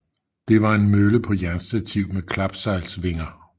Det var en mølle på jernstativ med klapsejlsvinger